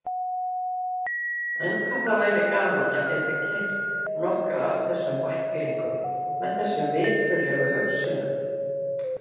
En hvað væri gaman að geta keypt nokkra af þessum bæklingum með þessum viturlegu hugsunum.